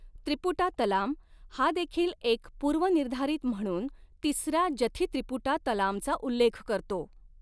त्रिपुटा तलाम हा देखील एक पूर्वनिर्धारित म्हणून तिसरा जथी त्रिपुटा तलामचा उल्लेख करतो.